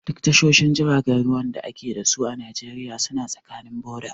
Duk tashoshin jiragen ruwan da a ke dasu a Najeriya suna tsakanin boda.